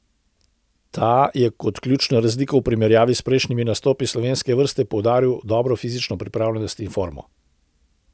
Ta je kot ključno razliko v primerjavi s prejšnjimi nastopi slovenske vrste poudaril dobro fizično pripravljenost in formo.